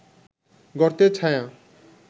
গর্তের ছায়া